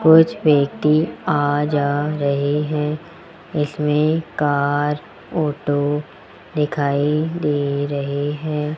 कुछ व्यक्ति आ जा रहे हैं इसमें कार ऑटो दिखाई दे रहे हैं।